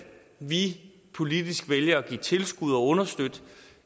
vi politisk vælger at give tilskud og understøtte